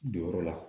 Donyɔrɔ la